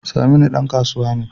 Saminu dan kasuwa ne